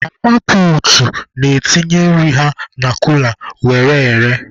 Mama puutu na-etinye nri ha na kula were ere.